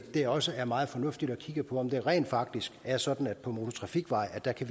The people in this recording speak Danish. det også er meget fornuftigt at kigge på om det rent faktisk er sådan at på motortrafikveje kan